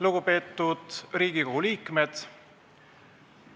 Lugupeetud Riigikogu liikmed!